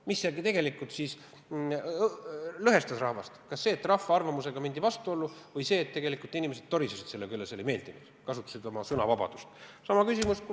Mis tegelikult lõhestas rahvast – kas see, et rahva arvamusega mindi vastuollu, või see, et tegelikult inimesed torisesid selle üle, see ei meeldinud neile, nad kasutasid oma sõnavabadust?